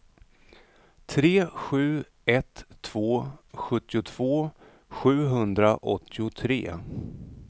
tre sju ett två sjuttiotvå sjuhundraåttiotre